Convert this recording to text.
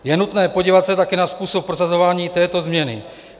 Je nutné podívat se také na způsob prosazování této změny.